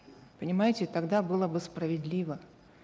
понимаете тогда было бы справедливо